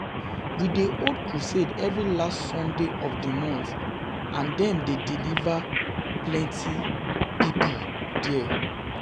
We dey hold crusade every last sunday of the month and dem dey deliver dem dey deliver plenty people there